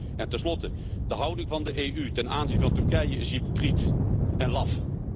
En ten slotte, de houding van de EU ten aanzien van Turkije is hypocriet en laf.